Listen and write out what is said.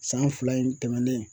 San fila in tɛmɛnen.